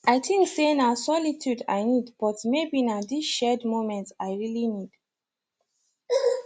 i think say na solitude i need but maybe na this shared moment i really need